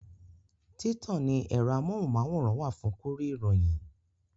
Títàn ní ẹ̀rọ amóhùnmáwòrán wà fún kúrí ìròyìn